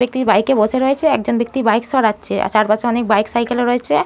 ব্যাক্তি বাইক এ বসে রয়েছেএক জন ব্যাক্তি বাইক সরাচ্ছেআর তার পাশে অনেক বাইক সাইকেল ও রয়েছে।